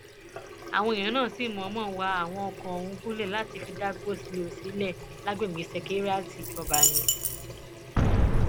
àwọn èèyàn náà sì mọọnmọ wá àwọn ọkọ ọhún gúnlẹ láti fi dá gòlíṣílọọ sílẹ lágbègbè ṣekéírátì ìjọba ni